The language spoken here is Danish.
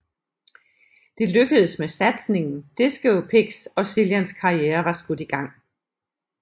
Det lykkedes med satsningen Disco Pigs og Cillians karriere var skudt i gang